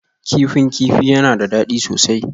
Kifin kifi yana da daɗi sosai